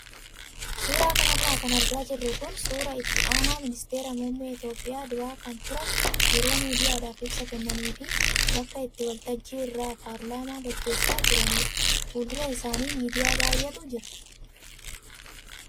Suuraa kanarra kan argaa jirru kun suuraa itti aanaa ministeera muummee Itoophiyaa duraa kan turan yeroo miidiyaadhaaf ibsa kennanii fi bakka itti waltajjii irraa paarlaamaa gaggeessaa jiranidha. Fuuldura isaanii miidiyaa baay'eetu jiru.